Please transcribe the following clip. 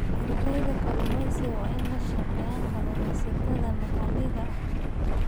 Ardayda kalluumeysiga waa inay la shaqeeyaan kalluumaysatada maxalliga ah.